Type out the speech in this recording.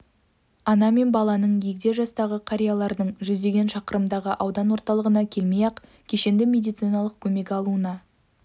ана мен баланың егде жастағы қариялардың жүздеген шақырымдағы аудан орталығына келмей-ақ кешенді медициналық көмек алуына